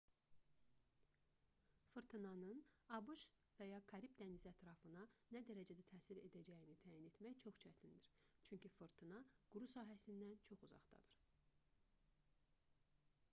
fırtınanın abş və ya karib dənizi ətrafına nə dərəcədə təsir edəcəyini təyin etmək çox çətindir çünki fırtına quru sahəsindən çox uzaqdadır